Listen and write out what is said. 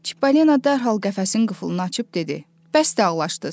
Çippolino dərhal qəfəsin qıfılını açıb dedi: Bəsdir ağlaşdınız.